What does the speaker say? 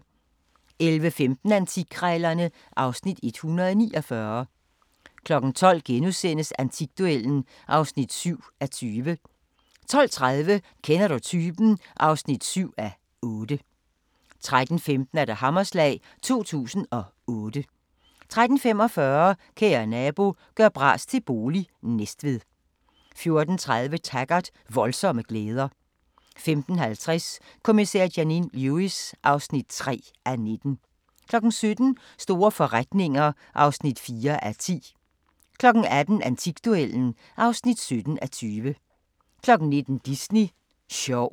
11:15: Antikkrejlerne (Afs. 149) 12:00: Antikduellen (7:20)* 12:30: Kender du typen? (7:8) 13:15: Hammerslag 2008 13:45: Kære nabo – gør bras til bolig – Næstved 14:30: Taggart: Voldsomme glæder 15:50: Kommissær Janine Lewis (3:19) 17:00: Store forretninger (4:10) 18:00: Antikduellen (17:20) 19:00: Disney sjov